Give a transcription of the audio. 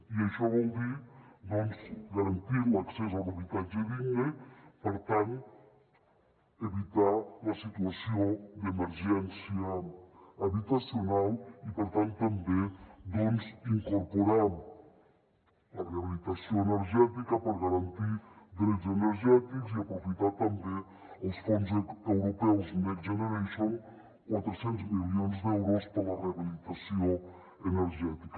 i això vol dir doncs garantir l’accés a un habitatge digne per tant evitar la situació d’emergència habitacional i per tant també doncs incorporar la rehabilitació energètica per garantir drets energètics i aprofitar també els fons europeus next generation quatre cents milions d’euros per a la rehabilitació energètica